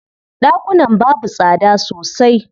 Ɗakunan babu tsada sosai.